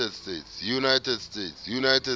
united states